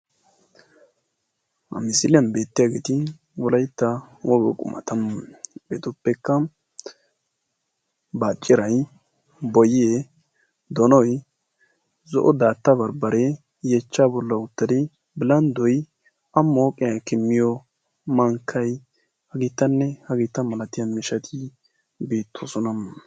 Ha misiliyan beetiyaageeti wolaytta woga qumata. hegeetuppekka baacciray boyee donoy zo'o daatta bambbaree yeechchaa boli a mooqiyan ekki miyo bilanddoy beetoosona.